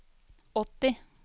åtti